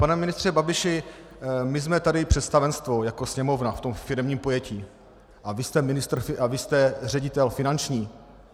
Pane ministře Babiši, my jsme tady představenstvo jako Sněmovna v tom firemním pojetí a vy jste ředitel finanční.